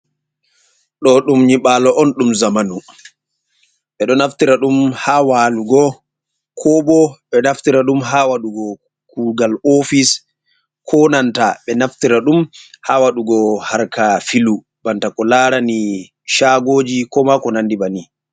Ɗo ɗum nyiɓalo on ɗum zamanu, ɓe ɗo naftira ɗum ha walugo, ko bo ɓe naftira ɗum ha waɗugo kugal ofis, ko nanta be naftira ɗum ha waɗugo harkaji filu, banta ko larani chagoji, ko ma ko nandi banin